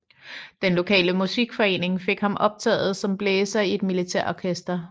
Den lokale musikforening fik ham optaget som blæser i et militærorkester